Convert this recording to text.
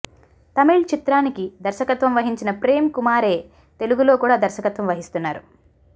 తమిళ్ చిత్రానికి దర్శకత్వం వహించిన ప్రేమ్ కుమారే తెలుగులో కూడా దర్శకత్వం వహిస్తున్నారు